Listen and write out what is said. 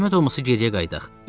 Zəhmət olmasa geriyə qayıdaq.